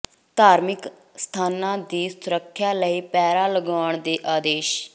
ਧਾਰਮਿਕ ਸਥਾਨਾਂ ਦੀ ਸੁਰੱਖਿਆ ਲਈ ਪਹਿਰਾ ਲਗਾਉਣ ਦੇ ਆਦੇਸ਼